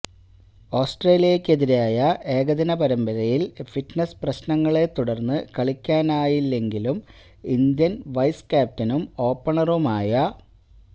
ഓസ്ട്രേലിയക്കെതിരായ ഏകദിന പരമ്പരയില് ഫിറ്റ്നസ് പ്രശ്നങ്ങളെ തുടര്ന്നു കളിക്കാനായില്ലെങ്കിലും ഇന്ത്യന് വൈസ് ക്യാപ്റ്റനും ഓപ്പണറുമായ